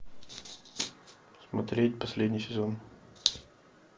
смотреть последний сезон